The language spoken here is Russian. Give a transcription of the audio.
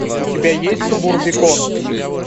у тебя есть субурбикон